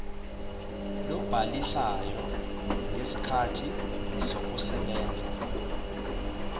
lobhalisayo ngezikhathi zokusebenza